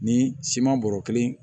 Ni siman bɔrɔ kelen